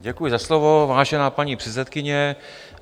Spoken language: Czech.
Děkuji za slovo, vážená paní předsedkyně.